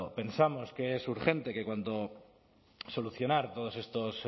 pensamos que es urgente que cuanto solucionar todas